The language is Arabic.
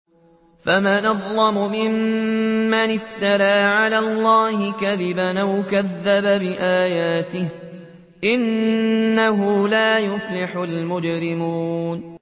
فَمَنْ أَظْلَمُ مِمَّنِ افْتَرَىٰ عَلَى اللَّهِ كَذِبًا أَوْ كَذَّبَ بِآيَاتِهِ ۚ إِنَّهُ لَا يُفْلِحُ الْمُجْرِمُونَ